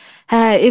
Hə, evdədir.